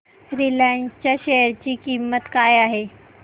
Reliance च्या share ची किंमत काय आहे